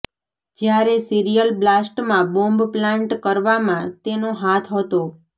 જ્યારે સિરીયલ બ્લાસ્ટમાં bomb plant કરવામાં તેનો હાથ હતો